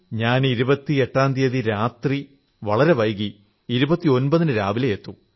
ാം തീയതി രാത്രി വളരെ വൈകി 29 ന് രാവിലെയേ എത്തൂ